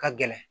Ka gɛlɛn